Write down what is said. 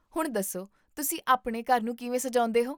ਹੁਣ ਦੱਸੋ ਤੁਸੀ ਆਪਣੇ ਘਰ ਨੂੰ ਕਿਵੇਂ ਸਜਾਉਂਦੇ ਹੋ